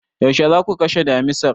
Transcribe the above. Yaushe za ku kashe damisar?